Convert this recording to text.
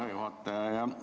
Hea juhataja!